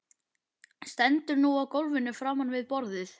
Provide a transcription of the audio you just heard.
Stendur nú á gólfinu framan við borðið.